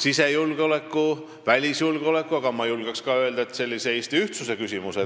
sisejulgeoleku ja välisjulgeoleku, aga ma julgen ka öelda, et Eesti ühtsuse küsimus.